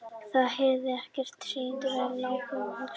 Þá heyrði ég sírenuvæl nálgast og hugsaði að nú hefði einhver meitt sig.